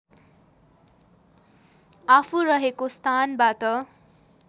आफू रहेको स्थानबाट